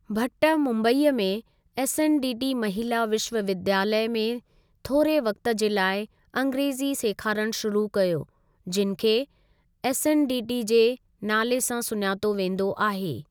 भट्ट मुंबईअ में एसएनडीटी महिला विश्वविद्यालय, में थोरे वक़्ति जे लाइ अँग्रेजी सेखारणु शुरू कयो जिनि खे एसएनडीटी जे नाले सां सुञातो वेंदो आहे।